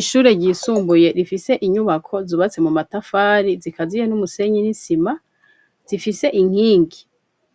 Ishure ryisumbuye, rifise inyubako, zubatse mu matafari, zikaziye n'umusenyi, n'isima; zifise inkingi,